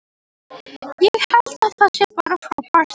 Ég held að það sé bara frábært.